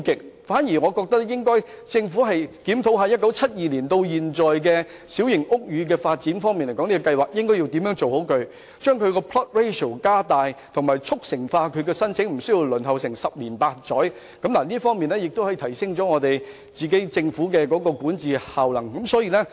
我反而建議政府檢討1972年至今的小型屋宇發展計劃，研究妥善處理的方案，如把 plot ratio 加大，以及加快處理有關申請，無須輪候十年八載，藉此提升政府的管治效能。